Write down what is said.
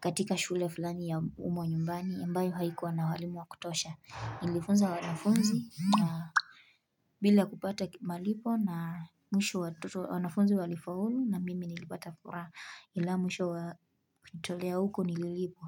katika shule fulani ya umma nyumbani. Ambayo haikuwa na walimu wa kutosha. Nilifunza wanafunzi bila kupata malipo na mwisho wanafunzi walifaulu na mimi nilipata furaha. Ila mwisho wa kujitolea huko nililipwa.